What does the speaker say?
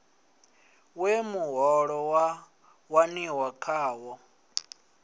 we muholo wa waniwa ngawo